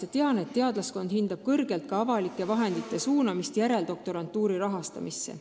Samuti tean ma, et teadlaskond hindab kõrgelt ka avaliku raha suunamist järeldoktorantuuri rahastamisse.